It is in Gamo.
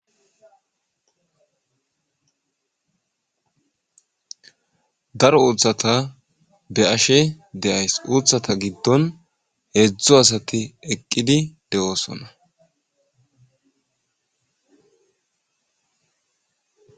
Daro uthata beashe de'ayis uthata gidon hedzu asati eqidi de'oosona